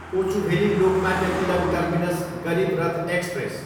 Kochuveli, Lokmanya Tilak terminus Garib Rath express